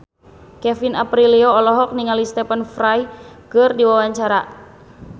Kevin Aprilio olohok ningali Stephen Fry keur diwawancara